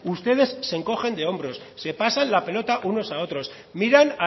ustedes se encogen de hombros se pasan la pelota unos a otros miran